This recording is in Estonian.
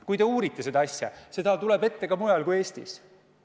Kui uurite, siis näete, et seda tuleb ette ka mujal kui Eestis.